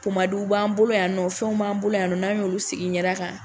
b'an bolo yan nɔ, fɛnw b'an bolo yan nɔ, n'an y'olu sigi i ɲɛda kan